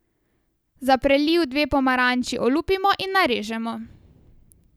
Za preliv dve pomaranči olupimo in narežemo.